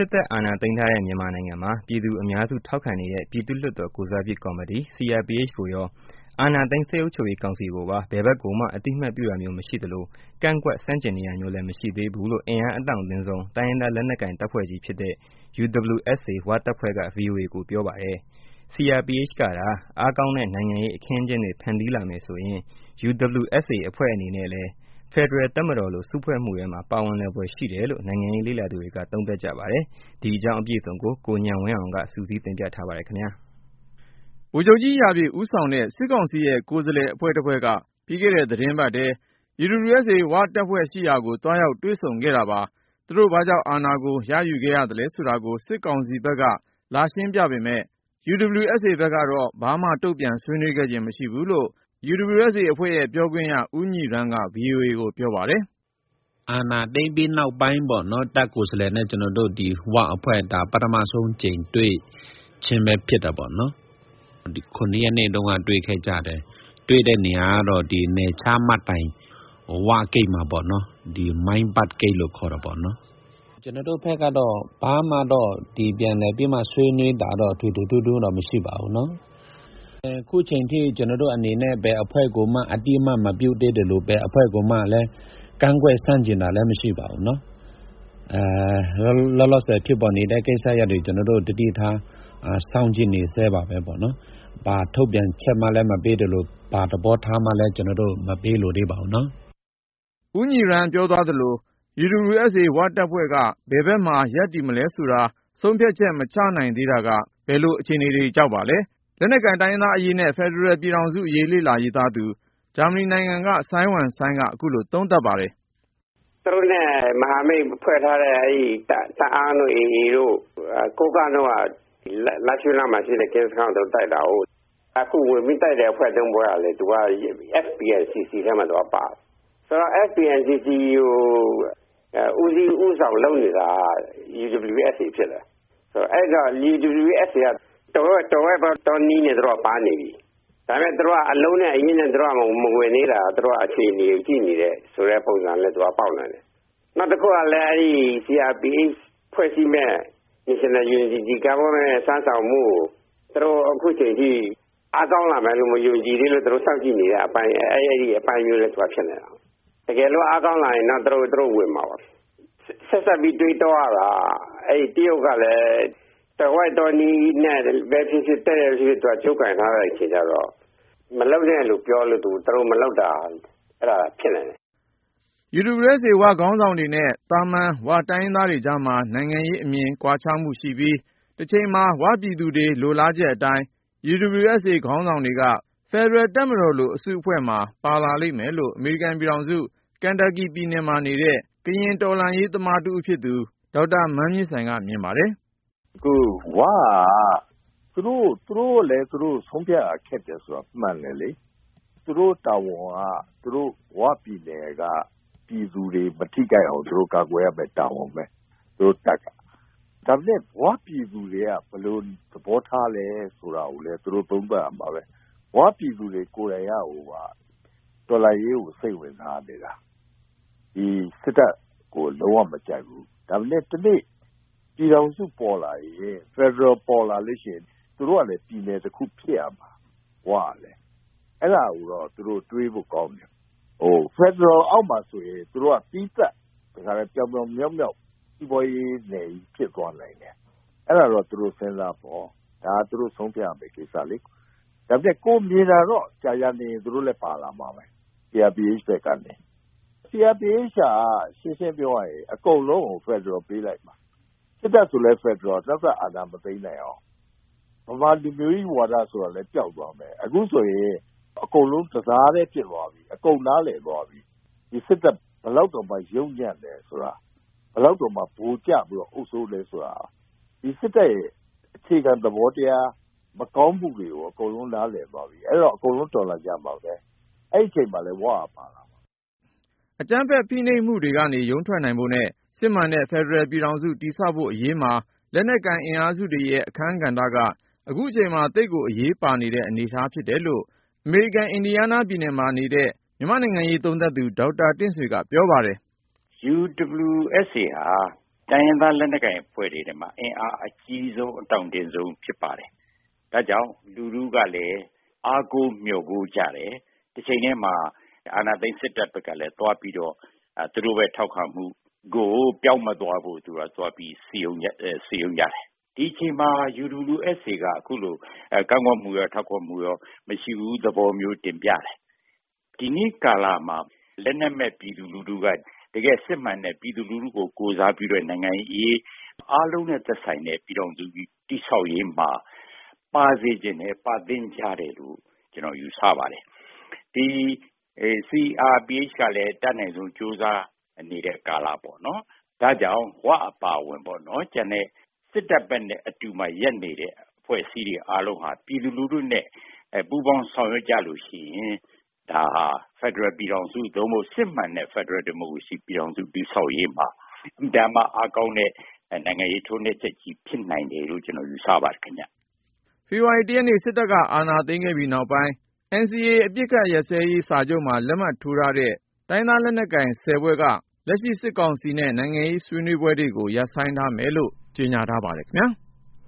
စ်တပ်အာဏာသိမ်းထားတဲ့ မြန်မာနိုင်ငံမှာ ပြည်သူအများစု ထောက်ခံနေတဲ့ ပြည်သူ့လွှတ်တော် ကိုယ်စားပြုကော်မတီ CRPH ကိုရော ၊ အာဏာသိမ်း စစ်အုပ်ချုပ်ရေးကောင်စီကိုပါ ဘယ်ဖက်ကိုမှ အသိအမှတ်ပြုတာမျိုး မရှိသလို၊ ကန့်ကွက် ဆန့်ကျင်နေတာမျိုးလည်း မရှိသေး ဘူးလို့ အင်အားအတောင့်တင်းဆုံး တိုင်းရင်းသားလက်နက်ကိုင် တပ်ဖွဲ့ကြီးဖြစ်တဲ့ UWSA ဝ-တပ်ဖွဲ့က VOA ကိုပြောပါတယ်။ CRPH ကသာ အားကောင်းတဲ့ နိုင်ငံရေးအခင်းအကျင်းတွေ ဖန်တီးလာမယ်ဆိုရင် UWSA တပ်ဖွဲ့ကလည်း ဖက်ဒရယ်တပ်မတော်လို စုဖွဲ့မှုထဲမှာ ပါဝင်လာဖွယ်ရှိတယ်လို့ နိုင်ငံရေးလေ့လာသူတွေက သုံးသပ်ပါတယ်။ ဒီအကြောင်း ကိုဉာဏ်ဝင်းအောင်က စုစည်းတင်ပြထားပါတယ်။ ဗိုလ်ချုပ်ကြီး ရာပြည့် ဦးဆောင်တဲ့ စစ်ကောင်စီရဲ့ ကိုယ်စားလှယ်အဖွဲ့တဖွဲ့က ပြီးခဲ့တဲ့ သီတင်းပတ်ထဲ UWSA ဝ-တပ်ဖွဲ့ကို သွားရောက် တွေ့ဆုံ ဆွေးနွေးခဲ့တာပါ။ သူတို့ဘာကြောင့် အာဏာကို ရယူခဲ့ရသလဲဆိုတာကို စစ်ကောင်စီဖက်က လာရှင်းပြပေမယ့် UWSA ဖက်ကတော့ ဘာမှ တုန့်ပြန်ဆွေးနွေးခဲ့ခြင်း မရှိဘူးလို့ UWSA ပြောခွင့်ရ ဦးညီရမ်းက VOA ကို ပြောပါတယ်။ “အာဏာသိမ်းပြီးနောက်ပိုင်းပေါ့နော် ၊ တပ်ကိုယ်စားလှယ်နဲ့ ကျနော်တို့ UWSA ၀ အဖွဲ့ ပထမဦးဆုံးအကြိမ် တွေ့ကြခြင်းပဲ ဖြစ်တယ်ပေါ့နော်။ ဧပြီ ၇ ရက်နေ့က တွေ့ခဲ့ကြတယ်၊ တွေ့တဲ့နေရာကတော့ နယ်ခြားမှတ်တိုင် ၀ ဂိတ်မှာပေါ့နော်၊ မိုင်းဘတ် ဂိတ်လို့ခေါ်တယ်။ ကျနော်တို့ဘက်ကတော့ ဘာမှတော့ ပြန်လည်ပြီးမှ ဆွေးနွေးတာတော့ ထွေထွေထူးထူးတော့ မရှိပါဘူး ၊ အခုအချိန်အထိ ကျနော်တို့အနေနဲ့ ဘယ်အဖွဲ့ကိုမှ အသိအမှတ်မပြုသေးသလို ၊ ဘယ်အဖွဲ့ကိုမှလည်း ကန့်ကွက်ဆန့်ကျင်တာလည်း မရှိပါဘူး။ လောလောဆည် ဖြစ်ပေါ်နေတဲ့ ကိစ္စရပ်တွေကို ကျနော်တို့ သတိထားစောင့်ကြည့်နေဆဲပါပဲ။ ဘာထုတ်ပြန်ချက်မှလည်း မပေးသလို၊ ဘာ သဘောထားမှလည်း ကျနော်တို့ မပေးလိုသေးပါဘူးနော်။” ဦညီရမ်းပြောသွားသလို UWSA ဝ-တပ်ဖွဲ့က ဘယ်ဖက်မှာ ရပ်တည်မလဲဆိုတာကို ဆုံးဖြတ်ချက် မချနိုင်သေးတာက ဘယ်လို အခြေအနေ ကြောင့်ပါလဲ။ လက်နက်ကိုင် တိုင်းရင်းသားအရေးနဲ့ ဖက်ဒရယ်ပြည်ထောင်စုအရေး လေ့လာရေးသားသူ ဂျာမနီနိုင်ငံက စိုင်းဝမ်စိုင်းက ခုလို သုံးသပ်ပါတယ်။ “သူတို့နဲ့ မဟာမိတ်ဖွဲ့ထားတဲ့ TNLA တအာင်းတို့ ၊ AA တို့ ၊ ကိုးကန့်တို့က လားရှိုးနားမှာရှိတဲ့ ကင်းစခန်းကို ဝင်ပြီးတိုက်တာကိုး။ အခုဝင်ပြီးတိုက်တဲ့ အဖွဲ့ ၃ ဖွဲ့ကလည်း FPNCC ထဲမှာပါတယ်။ ဆိုတော့ FPNCC ကို ဦးစီး ဦးဆောင်လုပ်နေတာက UWSA ဖြစ်တယ်။ ဆိုတော့ UWSA က သွယ်ဝိုက်သော နည်းနဲ့ ပါနေပြီ၊ ဒါပေမယ့် သူတို့က အလုံးနဲ့အရင်းနဲ့ မဝင်သေးတာ သူက အခြေအနေကို ကြည့်နေတယ်ဆိုတဲ့ ပုံစံမျိုး ပေါက်နေတယ်။ နောက်တခုကလည်း CRPH ဖွဲ့စည်းမယ့် National Unity Government စွမ်းဆောင်မှုကို သူတို့ အခုအချိန်အထိ အားကောင်းလာမယ်လို့ မယုံကြည်သေးလို့ စောင့်ကြည့်နေတဲ့အပိုင်း။ အဲလို အပိုင်းမျိုးလည်း ဖြစ်နိုင်တယ်။ တကယ်လို့ အားကောင်းလာရင်တော့ သူတို့ ဝင်မှာပါ။ ဆက်စပ်ပြီး တွေးတောလို့ရတာက တရုတ်ကလည်း သွယ်ဝိုက်သောနည်းနဲ့ပဲ ဖြစ်ဖြစ် ၊ တည့်တည့်ပဲ ဖြစ်ဖြစ် ကြိုးကိုင်ထားတဲ့အခါကျတော့ မလုပ်နဲ့လို့ပြောလို့ သူတို့ မလုပ်တာလည်း ဖြစ်နိုင်တယ်။” UWSA ဝ-ခေါင်းဆောင်တွေနဲ့ သာမန် ဝ-တိုင်းရင်းသားတွေကြားမှာ နိုင်ငံရေးအမြင် ကွာခြားမှုရှိပြီး ၊ တချိန်မှာ ဝ-ပြည်သူတွေလိုလားချက် အတိုင်း UWSA ဝ-ခေါင်းဆောင်တွေက ဖက်ဒရယ်တပ်မတော်လို အစုအဖွဲ့မှာ ပါလာလိမ့်မယ်လို့ အမေရိကန်ပြည်ထောင်စု ကန်တပ်ကီ ပြည်နယ်မှာနေတဲ့ ကရင်တော်လှန်ရေးသမားတဦးဖြစ်သူ ဒေါက်တာ မန်းမြင့်ဆိုင်က မြင်ပါတယ်။ “၀ က သူတို့လည်း သူတို့ဆုံးဖြတ်ရ ခက်တယ်ဆိုတာ မှန်တယ်လေ။ သူတို့တာဝန်က ဝပြည်နယ်က ပြည်သူတွေ မထိခိုက်အောင် ကာကွယ်ရမယ့် တာဝန်ပဲ သူတို့တပ်က ။ ဒါပေမယ့် ၀ ပြည်သူတွေ ဘယ်လိုသဘောထားလဲဆိုတာကိုလည်း သူတို့ သုံးသပ်ရမှာပဲ။ ၀ ပြည်သူတွေကိုယ်တိုင်က တော်လှန်ရေးကို စိတ်ဝင်စားနေတာ။ ဒီ စစ်တပ်ကို လုံး၀ မကြိုက်ဘူး၊ ဒါပေမယ့် တနေ့ ပြည်ထောင်စု ပေါ်လာရင် ၊ ဖယ်ဒရယ် ပေါ်လာလို့ရှိရင် သူတို့ကလည်း ပြည်နယ်တခု ဖြစ်ရမှာ ၀ ကလည်း။ အဲဒါကိုတော့ သူတို့ တွေးဖို့ကောင်းတယ်။ ဖယ်ဒရယ် အောက်မှဆိုရင် သီးသန့် ပြောင်ပြောင်မြောက်မြောက် စီးပွားရေးနယ်ကြီးဖြစ်သွားနိုင်တယ်။ အဲဒါတော့ သူတို့ စဉ်းစားပေါ့၊ ဒါကသူတို့ ဆုံးဖြတ်ရမယ့် ကိစ္စလေ ၊ ဒါပေမယ့် ကိုယ်မြင်တာတော့ ကြာကြာနေရင် သူတို့လည်း ပါလာမှာပဲ CRPH ဘက်ကနေ ။ CRPH က ရှင်းရှင်းပြောရရင် အကုန်လုံးကို ဖယ်ဒရယ်ပေးလိုက်မှာ ၊ စစ်တပ်ဆိုလည်း ဖယ်ဒရယ် နောက်ထပ် အာဏာမသိမ်းနိုင်အောင် ။ ဗမာလူမျိုးကြီး ဝါဒဆိုတာလည်း ပျောက်သွားမယ်။ အခုဆိုရင် အကုန်လုံး တသားတည်း ဖြစ်သွားပြီ ၊ အကုန်နားလည်သွားပြီး ဒီစစ်တပ် ဘယ်လောက်တောင် ယုတ်ညံ့သလဲဆိုတာ ၊ ဘယ်လောက်တောင်မှ ဗိုလ်ကျပြီးတော့ အုပ်စိုးသလဲဆိုတာ ။ ဒီစစ်တပ်ရဲ့ အခြေခံ သဘောတရား မကောင်းမှုတွေကို အကုန်လုံးနားလည်သွားပြီ အဲဒီတော့ အကုန်လုံး တော်လှန်ကြမှာပဲ။ အဲဒီအချိန်မှာလည်း ၀ က ပါလာမှာ။” အကြမ်းဖက်ဖိနှိပ်မှုတွေကနေ ရုန်းထွက်နိုင်ဖို့နဲ့ စစ်မှန်တဲ့ ဖက်ဒရယ်ပြည်ထောင်စု တည်ဆောက်ဖို့ အရေးမှာ လက်နက်ကိုင် အင်အားစုတွေရဲ့ အခန်းကဏ္ဍက ခုချိန်မှာ သိပ်ကို အရေးပါနေတဲ့ အနေအထား ဖြစ်လာတယ်လို့ အမေရိကန် အင်ဒီယားနားပြည်နယ်မှာ နေတဲ့ မြန်မာ့နိုင်ငံရေး သုံးသပ်သူ ဒေါက်တာတင့်ဆွေက ပြောပါတယ်။ “UWSA ဟာ တိုင်းရင်းသားလက်နက်ကိုင် အဖွဲ့တွေထဲမှာ အင်အားအကြီးဆုံး အတောင့်တင်းဆုံးဖြစ်ပါတယ်။ ဒါကြောင့် လူထုကလည်း အားကိုးမျှော်ကိုးကြတယ်။ တချိန်တည်းမှာ အာဏာသိမ်းစစ်တပ်ကလည်း သွားပြီးတော့၊ သူတို့အပေါ် ထောက်ခံမှုကို ပျောက်မသွားအောင်လို့ စည်းရုံးကြတယ်။ ဒီအချိန်မျာ UWSA ဟာ ကန့်ကွက်မှုရော ထောက်ခံမှုရော မရှိဘူး သဘောမျိုး တင်ပြတယ်။ ဒီနေ့ကာလမှာ လက်နက်မဲ့ပြည်သူလူထုက တကယ့်စစ်မှန်တဲ့ ပြည်သူလူထုကို ကိုယ်စားပြုတဲ့ နိုင်ငံ့အရေး အားလုံးနဲ့သက်ဆိုင်တဲ့ ပြည်ထောင်စုကြီး တည်ဆောက်ရေးမှာ ပါစေချင်တယ်၊ ပါသင့်ကြတယ်လို့ ကျနော်ယူဆပါတယ်။ ဒီ CRPH က အတတ်နိုင်ဆုံးကြိုးစား နေတဲ့ကာလပေါ့နော်။ ဒါကြောင့် ၀ အပါအဝင် ကျန်တဲ့ စစ်တပ်ဘက်မှာ ရပ်နေတဲ့ အဖွဲ့အစည်းတွေအားလုံးက ပြည်သူလူထုနဲ့ ပူးပေါင်းဆောင်ရွက်ကြရင် ဒါဟာ ဖယ်ဒရယ်ပြည်ထောင်စု စစ်မှန်တဲ့ ဖက်ဒရယ်ဒီမိုကရေစီ ပြည်ထောင်စု တည်ဆောက်ရေးမှာ အင်မတန်မှ အားကောင်းတဲ့ နိုင်ငံရေးထိုက်နှက်ချက်ကြီး ဖြစ်နိုင်တယ်လို့ ကျနေ်ာယူဆပါတယ်ခင်ဗျ။ ဖေဖေါ်ဝါရီ ၁ ရက်နေ့ စစ်တပ်က အာဏာသိမ်းခဲ့ပြီးနောက်ပိုင်း NCA အပစ်အခတ်ရပ်စဲရေး စာချုပ်မှာ လက်မှတ်ထိုးထားတဲ့ တိုင်းရင်းသားလက်နက်ကိုင် ဖွဲ့က လက်ရှိ စစ်ကောင်စီနဲ့ နိုင်ငံရေးအရ ဆွေးနွေးပွဲတွေကို ရပ်ဆိုင်းထားမယ်လို့ ကြေညာထားပါတယ်ခင်ဗျား။